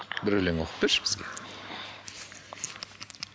бір өлең оқып берші бізге